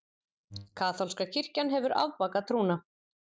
Kaþólska kirkjan hefur afbakað trúna.